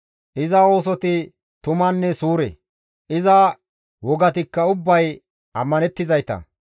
Iza oosoti tumanne suure; iza wogatikka ubbay ammanettizayta.